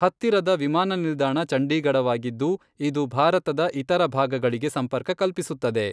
ಹತ್ತಿರದ ವಿಮಾನ ನಿಲ್ದಾಣ ಚಂಡೀಗಢವಾಗಿದ್ದು, ಇದು ಭಾರತದ ಇತರ ಭಾಗಗಳಿಗೆ ಸಂಪರ್ಕ ಕಲ್ಪಿಸುತ್ತದೆ.